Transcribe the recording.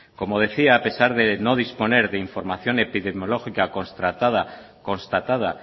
como decía a pesar de no disponer de información epidemiológica constatada